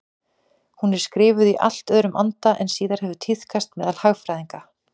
Hún er skrifuð í allt öðrum anda en síðar hefur tíðkast meðal hagfræðinga.